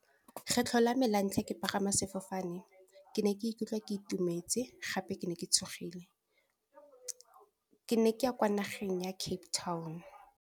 Kgetlho la me la ntlha ke pagama sefofane, ke ne ke ikutlwa ke itumetse gape ke ne ke tshogile. Ke ne ke ya kwa nageng ya Cape Town.